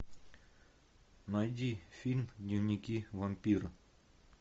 найди фильм дневники вампира